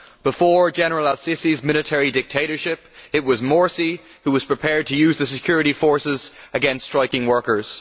Before General al Sisi's military dictatorship, it was Morsi who was prepared to use the security forces against striking workers.